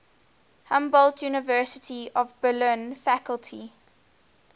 humboldt university of berlin faculty